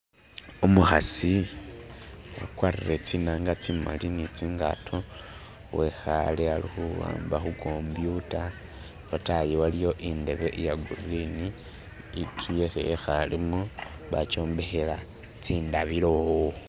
umukhasi akwarire tsinanga tsimali ni tsingato wekhale alikhuamba khukombyuta lwatayi aliwo indebe iyagurini inzu isi ekhalemo wakiombekhela tsindabilo.